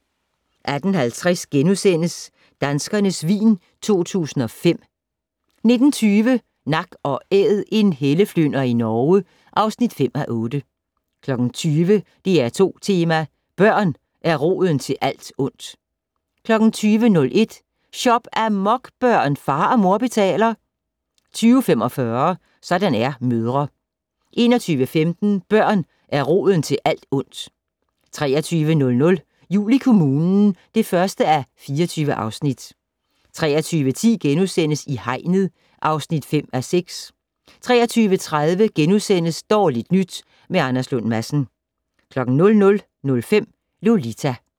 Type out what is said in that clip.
18:50: Danskernes vin 2005 * 19:20: Nak & Æd - en helleflynder i Norge (5:8) 20:00: DR2 Tema: Børn er roden til alt ondt 20:01: Shop-amok, børn! Far og mor betaler 20:45: Sådan er mødre 21:15: Børn er roden til alt ondt 23:00: Jul i kommunen (1:24) 23:10: I hegnet (5:6)* 23:30: Dårligt nyt med Anders Lund Madsen * 00:05: Lolita